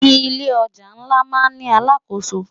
Ilé òjá nlá má n ni àlákósó